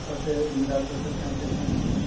আছে বিন্দাচ আছে, চাই fashion আছে